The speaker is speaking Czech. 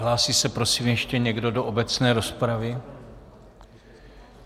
Hlásí se, prosím, ještě někdo do obecné rozpravy?